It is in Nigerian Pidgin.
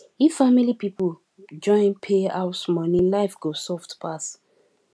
if family people join pay house money life go soft pass